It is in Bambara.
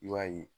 I b'a ye